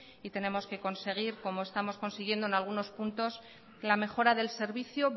y tenemos que conseguir como estamos consiguiendo en algunos puntos la mejora del servicio